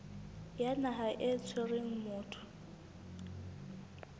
ya naha e tshwereng motho